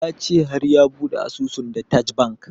Ya ce har ya bude asusun da taj bank